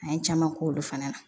An ye caman k'olu fana la